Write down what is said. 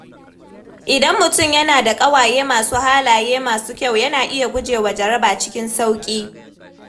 Idan mutum yana da ƙawaye masu halaye masu kyau, yana iya gujewa jaraba cikin sauƙi.